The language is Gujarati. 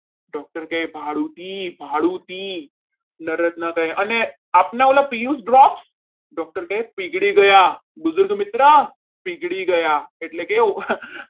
Doctor કહે ભાડુતી ભાડુતી અને આપના ઓલા પિયુષ drops doctor કહી પીગળી ગયા બીજ મિત્ર પીગળી ગયા એટલે કે